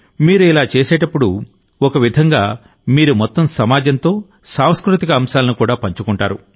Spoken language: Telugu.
మీరు ఇలా చేసినప్పుడుఒక విధంగామీరు మొత్తం సమాజంతో సాంస్కృతిక అంశాలను పంచుకుంటారు